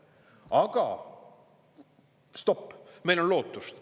" Aga stopp, meil on lootust.